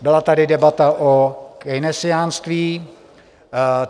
Byla tady debata o keynesiánství.